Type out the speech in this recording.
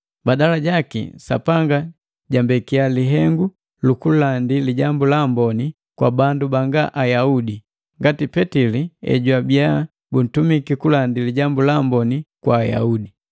Badala jaki, Sapanga jambekia lihengu lukulandi Lijambu la Amboni kwa bandu banga Ayaudi, ngati Petili ejwabiya buntumiki kulandi Lijambu la Amboni kwa Ayaudi.